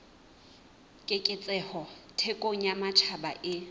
keketseho thekong ya matjhaba e